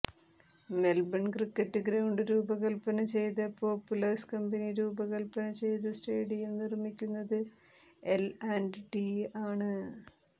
Melbourne cricket ground രൂപകൽപ്പന ചെയ്ത Populous company രൂപകൽപ്പന ചെയ്ത സ്റ്റേഡിയം നിർമ്മിക്കുന്നത് എൽ ആന്റ് ടി ആണ്